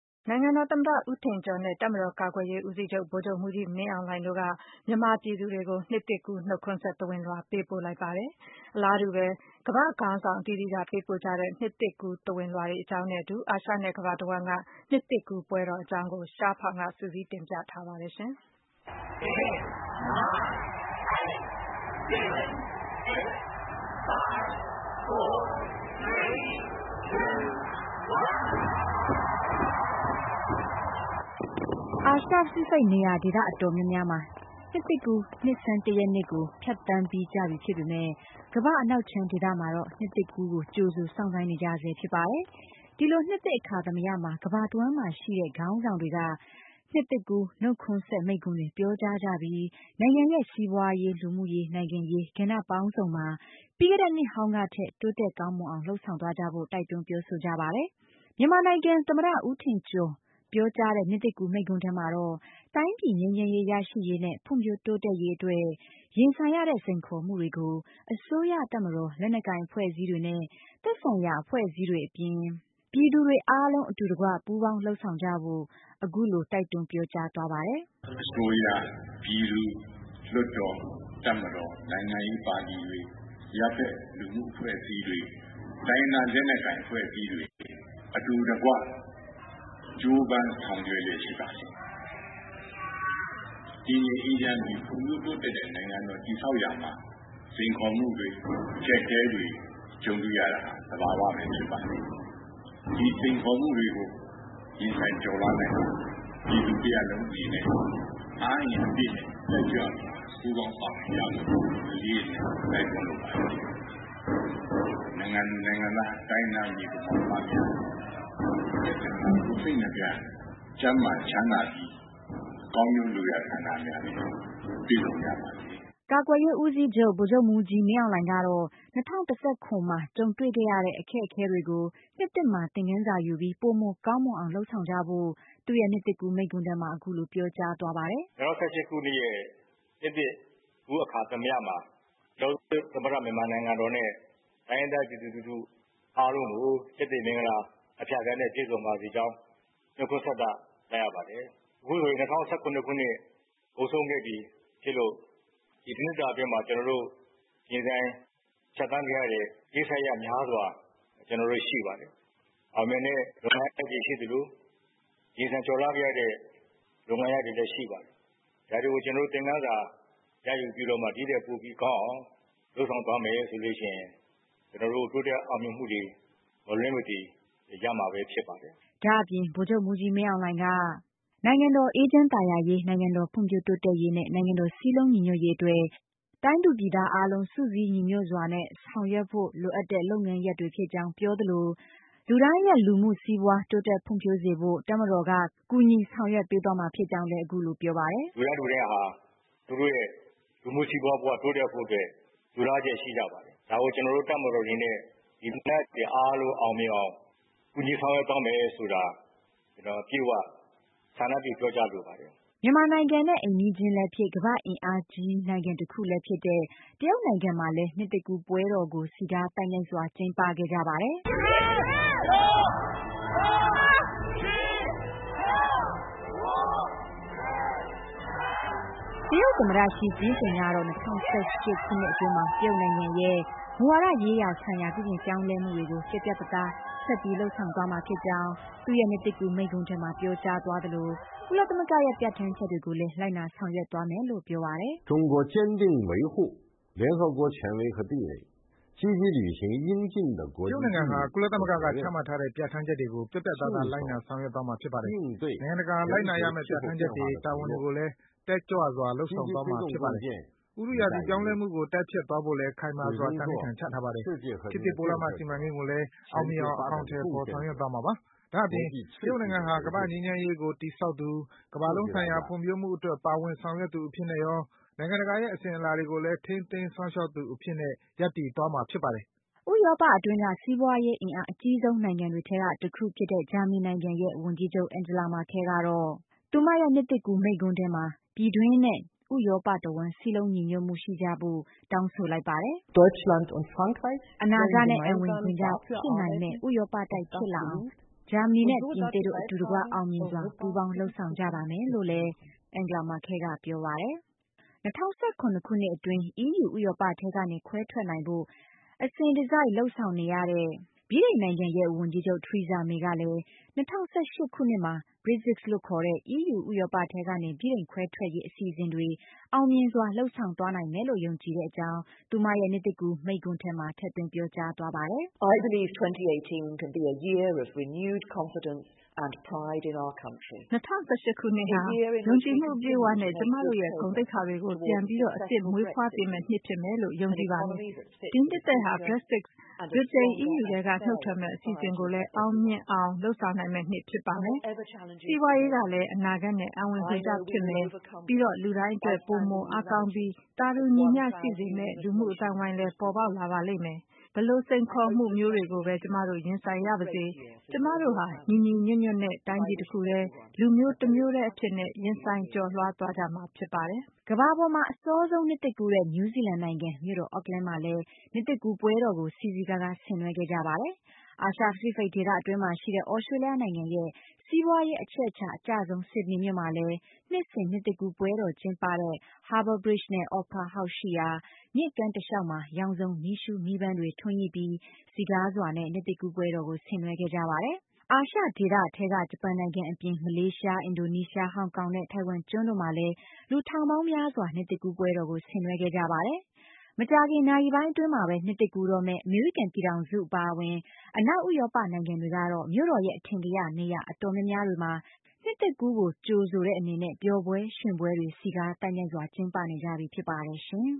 နိုင်ငံတော်သမ္မတ ဦးထင်ကျော်နဲ့ ကာကွယ်ရေးဦးစီးချုပ် ဗိုလ်ချုပ်မှူးကြီး မင်းအောင်လှိုင်တို့က မြန်မာပြည်သူတွေကို နှစ်သစ်ကူး နှုတ်ခွန်းဆက် သဝဏ်လွှာ ပေးပို့လိုက်ပါတယ်။ အလားတူပဲ ကမ္ဘာ့ခေါင်းဆောင်တွေကလည်း နှစ်သစ်ကူး သဝဏ်လွှာတွေကို အသီးသီး ပေးပို့ခဲ့ကြပါတယ်။ အာရှ နဲ့ ကမ္ဘာတဝှမ်းက နှစ်သစ်ကူးပွဲတော်အကြောင်းကို ရှားဖောင် က စုစည်း တင်ပြထားပါတယ်။ အာရှ-ပစိဖိတ် နေရာဒေသ အတော်များများမှာ နှစ်သစ်ကူး နှစ်ဆန်း ၁ ရက်နေ့ကို ဖြတ်သန်းပြီး ကြပြီဖြစ်ပေမယ့် ကမ္ဘာ့ အနောက်ခြမ်းဒေသ မှာတော့ နှစ်သစ်ကူးကို ကြိုဆိုစောင့်ဆိုင်းနေကြရဆဲဖြစ်ပါတယ်။ ဒီလိုနှစ်သစ်အခါသမယမှာ ကမ္ဘာတဝှမ်းမှာရှိတဲ့ နိုင်ငံခေါင်းဆောင်တွေက နှစ်သစ်ကူး နှုတ်ခွန်းဆက် မိန့်ခွန်းတွေပြောကြား ကြပြီး နိုင်ငံရဲ့ စီးပွားရေး၊ လူမှုရေး၊ နိုင်ငံရေး ကဏ္ဍပေါင်းစုံမှာ ပြီးခဲ့နှစ်ဟောင်းကထက် တိုးတက်ကောင်းမွန်အောင် လုပ်ဆောင်သွားကြဖို့ တိုက်တွန်းပြောဆိုကြပါတယ်။ မြန်မာနိုင်ငံ သမ္မတ ဦးထင်ကျော် ပြောကြားတဲ့ နှစ်သစ်ကူး မိန့်ခွန်းထဲမှာတော့ တိုင်းပြည် ငြိမ်းချမ်းရေးရရှိရေးနဲ့ ဖွံ့ဖြိုးတိုးတက်ရေးအတွက် ရင်ဆိုင်နေရတဲ့ စိန်ခေါ်မှုတွေကို အစိုးရ၊ တပ်မတော်၊ လက်နက်ကိုင်အဖွဲ့အစည်းနဲ့ သက်ဆိုင်ရာအဖွဲ့အစည်းတွေအပြင် ပြည်သူတွေအားလုံး အတူတကွ ပူးပေါင်း လုပ်ဆောင်သွားကြဖို့ အခုလို တိုက်တွန်းပြောကြားသွားပါတယ်။ " အစိုးရ၊ ပြည်သူ၊ လွှတ်တော်၊ တပ်မတော် နိုင်ငံရေးပါတီတွေ အရပ်ဖက် အဖွဲ့အစည်းတွေ တိုင်းရင်းသားလက်နက်ကိုင်အဖွဲ့အစည်းတွေ အတူတကွ ကြိုးပမ်းဆောင်ရွက်လျက်ရှိပါတယ်။ တည်ငြိမ်အေးချမ်းပြီး ဖွံ့ဖြိုးတိုးတက်တဲ့ နိုင်ငံတော် တည်ဆောက်ရမှာ စိန်ခေါ်မှုတွေ အကျပ်အတည်းတွေ ကြုံတွေ့ရတာ သဘာဝပဲဖြစ်ပါတယ်။ ဒီစိန်ခေါ်မှုတွေကို ရင်ဆိုင်ကျော်လွှားနိုင်ဖို့အတွက် ပြည်သူတရပ်လုံးအနေနဲ့ အားအင်အပြည့်နဲ့ တက်ကြွစွာ ပူးပေါင်းပါဝင်ကြဖို့ အလေးအနက် တိုက်တွန်းလိုပါတယ်။ နိုင်ငံသူနိုင်ငံသား တိုင်းရင်းသားညီအကိုမောင်နှမများ နှစ်သစ်မှာ ကိုယ်စိတ်နှစ်ဖြာ ကျန်းမာချမ်းသာကြပြီး ကောင်းကျိုးလိုရာဆန္ဒများနဲ့ပြည့်စုံကြပါစေ။" ကာကွယ်ရေးဦးစီးချုပ် ဗိုလ်ချုပ်မှူးကြီး မင်းအောင်လှိုင်ကတော့ ၂၀၁၇ မှာ ကြုံတွေ့ခဲ့ရတဲ့ အတွေ့အကြုံတွေကို နှစ်သစ်မှာ သင်္ခန်းစာယူပြီး ပိုမိုကောင်းမွန်အောင် လုပ်ဆောင် သွားကြဖို့ သူ့ရဲ့ နှစ်သစ်ကူး မိန့်ခွန်းထဲမှာ အခုလို ပြောကြားသွားပါတယ်။ " ၂၀၁၈ခုနှစ်ရဲ့ နှစ်သစ်ကူး အခါသမယမှာ ပြည်ထောင်စုသမ္မတနိုင်ငံတော်နဲ့ တိုင်းရင်းသားပြည်သူလူထု အားလုံးကို ကျက်သရေမင်္ဂလာအဖြာဖြာနဲ့ ပြည့်စုံပါစေကြောင်း နှုတ်ခွန်းဆက်သလိုက်ရပါတယ်။ အခုဆိုရင် ၂၀၁၇ခုနှစ် ကုန်ဆုံးခဲ့ပြီး ဖြစ်လို့ ဒီတစ်နှစ်တာအတွင်း ကျနော်တို့ ရင်ဆိုင်ဖြတ်သန်းခဲ့ရတဲ့ ကိစ္စရပ်များစွာ တွေရှိပါတယ် အောင်မြင်တဲ့လုပ်ငန်းတွေရှိသလို ရင်ဆိုင်ကျော်လွှားခဲ့ရတဲ့ လုပ်ငန်းရပ်တွေလည်းရှိပါတယ်။ ဒါတွေကို သင်္ခန်းစာရယူပြီးတော့မှ ဒီ့ထက်ပိုပြီးကောင်းအောင် လုပ်ဆောင်သွားမယ်ဆိုလို့ရှိရင် ကျနော်တို့ တိုးတက်အောင်မြင်မှုတွေ မလွဲမသွေ ရမှာပဲဖြစ်ပါတယ်။" ဒါ့အပြင် ဗိုလ်ချုပ်မှူးကြီးမင်းအောင်လှိုင်က နိုင်ငံတော်အေးချမ်းသာယာရေး၊ နိုင်ငံတော်ဖွံ့ဖြိုးတိုးတက်ရေးနဲ့ နိုင်ငံတော် စည်းလုံး ညီညွှတ်ရေး အတွက် တိုင်းသူပြည်သားအားလုံး စုစည်းညီညွှတ်စွာနဲ့ဆောင်ရွက်ဖို့ လိုအပ်တဲ့ လုပ်ငန်းရပ်တွေဖြစ်ကြောင်း ပြောသလို လူတိုင်းရဲ့ လူမှုစီးပွားတိုးတက်ဖွံ့ဖြိုးစေဖို့ တပ်မတော်က ကူညီဆောင်ရွက်ပေးသွားမှာဖြစ်ကြောင်း လည်း အခုလို ပြောပါတယ်။ " လူတိုင်း လူတိုင်းဟာ သူတို့ရဲ့ လူမှုစီးပွားဘဝ တိုးတက်ဖို့အတွက် လိုလားလျက် ရှိကြပါတယ် ဒါကို ကျနော်တို့ တပ်မတော်အနေနဲ့ ဒီလိုလားချက်တွေ အားလုံးအောင်မြင်အောင် ကူညီဆောင်ရွက်သွားမယ်ဆိုတာ ကျနော် အပြည့်အဝ ဆန္ဒပြုပြောကြားလိုပါတယ်။" မြန်မာနိုင်ငံနဲ့ အိမ်နီးချင်းလည်းဖြစ်၊ ကမ္ဘာ့ အင်အားကြီးနိုင်ငံတခုလည်းဖြစ်တဲ့ တရုတ်နိုင်ငံမှာလည်း နှစ်သစ်ကူးပွဲတော်ကို စည်းကား သိုက်မြိုက်စွာကျင်းပခဲ့ကြပါတယ်။ တရုတ်သမ္မတ ရှီ ကျင်းပင် ကတော့ ၂၀၁၈ ခုနှစ်အတွင်းမှာ တရုတ်နိုင်ငံရဲ့ မူဝါဒရေးရာဆိုင်ရာ ပြုပြင်ပြောင်းလဲမှုတွေကို ပြတ်ပြတ် သားသား ဆက်ပြီး လုပ်ဆောင်သွားမှာဖြစ်ကြောင်း သူ့ရဲ့နှစ်သစ်ကူးမိန့်ခွန်းထဲမှာ ပြောကြာသွားသလို ကုလသမဂ္ဂရဲ့ ပြဋ္ဌာန်းချက်တွေကိုလည်း လိုက်နာဆောင်ရွက်သွားမယ်လို့ ပြောပါတယ်။ “တရုတ်နိုင်ငံဟာ ကုလသမဂ္ဂက ချမှတ်တဲ့ ပြဋ္ဌာန်းချက်တွေကို ပြတ်ပြတ်သားသား လိုက်နာဆောင်ရွက်သွားမှာဖြစ်ပါတယ်။ နိုင်ငံတကာ လိုက်နာရမယ့် ပြဋ္ဌာန်းချက်တွေ၊ တာဝန်တွေကိုလည်း တက်ကြွစွာ လုပ်ဆောင်သွားမှာဖြစ်ပါတယ်။ ဥတုရာသီပြောင်းလဲမှု ကို တိုက်ဖျက်သွားဖို့လည်း ခိုင်မာစွာ သန္နိဋာန် ချထားပါတယ်။ ခေတ်သစ်ပိုးလမ်းမ စီမံကိန်းကိုလည်း အောင်မြင်အောင် အကောင်အထည်ဖော် ဆောင်ရွက်သွားမှာဖြစ်ပါတယ်။ ဒါ့အပြင် တရုတ်နိုင်ငံဟာ ကမ္ဘာ့ငြိမ်းချမ်းရေးကို တည်ဆောက်သူ၊ ကမ္ဘာလုံးဆိုင်ရာ ဖွံ့ဖြိုးမှုအတွက် ပါဝင်ဆောင်ရွက်သူအဖြစ်နဲ့ရော၊ နိုင်ငံတကာရဲ့ အစဉ်အလာတွေကိုလည်း ထိန်းသိမ်းစောင့်ရှောက် သွားမှာဖြစ်ပါတယ်။” ဥရောပအတွင်းက စီးပွားရေး အင်အား အကြီးဆုံး နိုင်ငံတွေထဲက တခုဖြစ်တဲ့ ဂျာမနီနိုင်ငံရဲ့ ဝန်ကြီးချုပ် Angela Merkel ကတော့ သူမရဲ့ နှစ်သစ်ကူးမိန့်ခွန်းထဲမှာ ပြည်တွင်းနဲ့ ဥရောပတဝှမ်း စည်းလုံးညီညွတ်မှုရှိကြဖို့ တောင်းဆိုလိုက်ပါတယ်။ “အနာဂတ်နဲ့ အံဝင်ခွင်ကျဖြစ်နိုင်မယ့် ဥရောပတိုက်ဖြစ်လာအောင် ဂျာမနီနဲ့ ပြင်သစ်တို့ အတူတကွ အောင်မြင်စွာ ပူးပေါင်းလုပ်ဆောင်ကြပါမယ်။” ၂၀၁၇ ခုနှစ်အတွင်း အီးယူ ဥရောပထဲကနေ ခွဲထွက်နိုင်ဖို့ အစဉ်တစိုက် လုပ်ဆောင်နေရတဲ့ ဗြိတိန်နိုင်ငံရဲ့ ဝန်ကြီးချုပ် Theresa May ကလည်း ၂၀၁၈ ခုနှစ်မှာ Brexit လို့ခေါ်ထဲ အီးယူ ဥရောပထဲကနေ ဗြိတိန်ခွဲထွက်ရေးအစီအစဉ်တွေ အောင်မြင်စွာ လုပ်ဆောင်သွားနိုင်မယ်လို့ ယုံကြည်တဲ့အကြောင်း သူမရဲ့ နှစ်သစ်ကူး မိန့်ခွန်းထဲမှာ ထည့်သွင်းပြောကြားသွားပါတယ်။ “၂၀၁၈ ဟာ ယုံကြည်မှု ပြည့်ဝစွာနဲ့ ကျမတို့ရဲ့ ဂုဏ်သိက္ခာတွေကို ပြန်လည် အသစ် မွေးဖွားပေးမယ့် နှစ်ဖြစ်မယ်လို့ ကျမယုံကြည်ပါတယ်။ ဒီနှစ်သစ်ဟာ Brexit ဗြိတိန် အီးယူထဲက နုတ်ထွက်မယ့် အစီအစဉ်ကိုလည်း အောင်မြင်စွာ လုပ်ဆောင်နိုင်မယ့်နှစ် ဖြစ်ပါမယ်။ စီးပွားရေးဟာလည်း အနာဂတ်နဲ့ အံဝင်ခွင်ကျဖြစ်မယ်၊ ပြီးတော့ လူတိုင်းအတွက် ပိုမိုအားကောင်းပြီး သာတူညီမျှရှိစေမယ့် လူမှုအသိုင်းအဝိုင်းပေါ်ပေါက်လာပါမယ်။ ဘယ်လို စိန်ခေါ်မှုမျိုးတွေကိုပဲ ကျမတို့ ရင်ဆိုင်ရပါစေ ကျမတို့ဟာ ညီညွှတ်စွာနဲ့ တိုင်းပြည်တခုတည်း၊ လူမျိုးတမျိုးတည်းအဖြစ်နဲ့ ရင်ဆိုင် ကျော်လွှားသွားကြမှာဖြစ်ပါတယ်။” ကမ္ဘာပေါ်မှာ အစောဆုံးနှစ်သစ်ကူးတဲ့ နယူးဇီလန်နိုင်ငံ မြို့တော် Ackland မှာလည်း နှစ်သစ်ကူးပွဲတော်ကို စည်စည်ကားကား ဆင်နွှဲခဲ့ကြပါတယ်။ အာရှ - ပစိတ် ဒေသအတွင်းမှာရှိတဲ့ သြစတြေးလျနိုင်ငံရဲ့ စီးပွားရေး အချက်အချာအကျဆုံး ဆစ်ဒနီမြို့မှာလည်း နှစ်စဉ် နှစ်သစ်ကူး ပွဲတော် ကျင်းပတဲ့ Harbour Bridge နဲ့ Opera House ရှိရာ မြစ်ကမ်းတလျှောက်မှာ ရောင်စုံ မီးရှုး မီးပန်းတွေ ထွန်းညှိပြီး စည်ကားစွာနဲ့ နှစ်သစ်ကူးပွဲတော်ကို ဆင်နွှဲခဲ့ကြပါတယ်။ အာရှဒေသထဲက ဂျပန်နိုင်ငံအပြင် မလေးရှား၊ အင်ဒိုနီးရှား၊ ဟောင်ကောင်နဲ့ ထိုင်ဝမ်ကျွန်းတို့မှာလည်း လူထောင်ပေါင်းများစွာ နှစ်သစ်ကူးပွဲတော်ကို ဆင်နွှဲခဲ့ကြပါတယ်။ မကြာခင် နာရီပိုင်းအတွင်းမှာပဲ နှစ်သစ်ကူးတော့မယ့် အမေရိကန် ပြည်ထောင်စု အပါအဝင် အနောက် ဥရောပ နိုင်ငံတွေကတော့ မြို့တော်ရဲ့ အထင်ကရ နေရာအတော်များများတွေမှာ နှစ်သစ်ကူး ကို ကြိုဆိုတဲ့အနေနဲ့ ပျော်ပွဲရွှင်ပွဲတွေ စည်ကားသိုက်မြိုက်စွာ ကျင်းပနေကြပြီဖြစ်ပါတယ်ရှင်